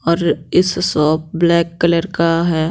और इस shop black colour का है।